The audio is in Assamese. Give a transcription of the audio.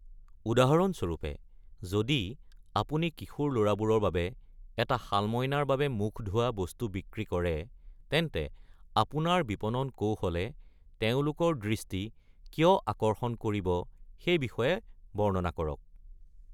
উদাহৰণস্বৰূপে, যদি আপুনি কিশোৰ ল’ৰাবোৰৰ বাবে এটা শালমইনাৰ বাবে মুখ ধোৱা বস্তু বিক্ৰী কৰে, তেন্তে আপোনাৰ বিপণন কৌশলে তেওঁলোকৰ দৃষ্টি কিয় আকৰ্ষণ কৰিব সেই বিষয়ে বৰ্ণনা কৰক।